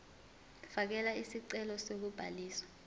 fakela isicelo sokubhaliswa